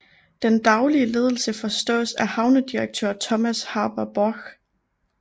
Den daglige ledelse forestås af havnedirektør Thomas Haber Borch